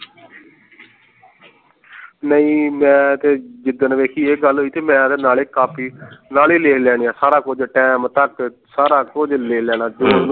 ਨਹੀਂ ਮੈਂ ਤੇ ਜਿੱਦਣ ਵੇਖੀ ਇਹ ਗੱਲ ਹੋਈ ਤੇ ਮੈਂ ਤਾਂ ਨਾਲੇ ਕਾਪੀ ਨਾਲੇ ਲਿਖ ਲੈਣੇ ਹੈ ਸਾਰਾ ਕੁਛ time ਤੱਕ ਸਾਰਾ ਕੁਛ ਲਿਖ ਲੈਣਾ